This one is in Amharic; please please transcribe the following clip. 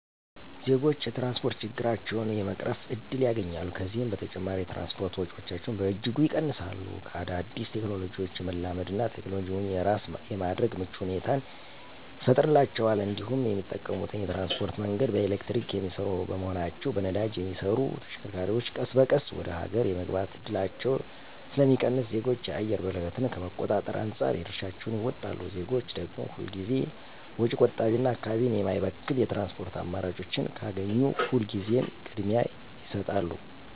ዜጎች የትራንስፖርት ችግራቸውን የመቅረፍ እድል ያገኛሉ፤ ከዚህም በተጨማሪ የትራንስፖርት ወጪያቸውን በእጅጉ ይቀንሳሉ፤ ከአዳዲስ ቴክኖሎጂዎች የመላመድ እና ቴክኖሎጂውን የራስ የማድረግ ምቹ ሁኔታን ይፈጥርላቸዋል እንዲሁም የሚጠቀሙት የትራንስፖርት መንገድ በኤሌክትሪክ የሚሰሩ በመሆናቸው በነዳጅ የሚሰሩ ተሽከርካሪዎች ቀስ በቀስ ወደ ሀገር የመግባት እድላቸው ስለሚቀንስ ዜጎች የአየር ብክለትን ከመቆጣጠር አንፃር የድርሻቸውን ይወጣሉ። ዜጎች ደግም ሁል ጊዜ ወጪ ቆጣቢና አካባቢን የማይበክል የትራንስፖርት አማራጮችን ካገኙ ሁል ጊዜ ቅድሚያ ይሰጣሉ።